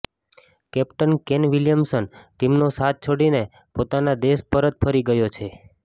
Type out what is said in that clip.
captain Kane Williamson ટીમનો સાથ છોડીને પોતાના દેશ પરત ફરી ગયો છે